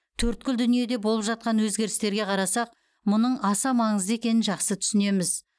төрткүл дүниеде болып жатқан өзгерістерге қарасақ мұның аса маңызды екенін жақсы түсінеміз